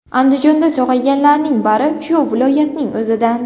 Andijonda sog‘ayganlarning bari shu viloyatning o‘zidan.